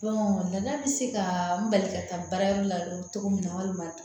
danna bɛ se ka n bali ka taa baarayɔrɔ la cogo min na walima